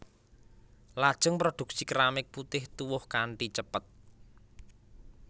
Lajeng produksi keramik putih tuwuh kanthi cepet